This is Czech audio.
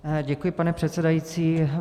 Děkuji, pane předsedající.